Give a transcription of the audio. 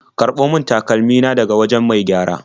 Karɓo min takalmi na daga wajen mai gyara.